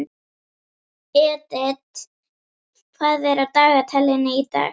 Edith, hvað er á dagatalinu í dag?